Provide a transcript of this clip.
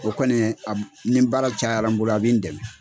O kɔni a nin baara cayara n bolo a bɛ n dɛmɛ.